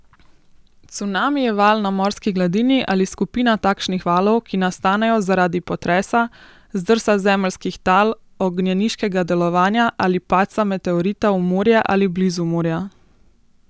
Cunami je val na morski gladini ali skupina takšnih valov, ki nastanejo zaradi potresa, zdrsa zemeljskih tal, ognjeniškega delovanja ali padca meteorita v morje ali blizu morja.